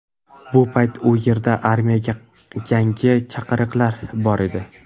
Bu payt u yerda armiyaga yangi chaqirilganlar bor edi.